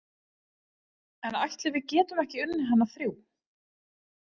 En ætli við getum ekki unnið hana þrjú.